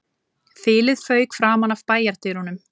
Þilið fauk framan af bæjardyrunum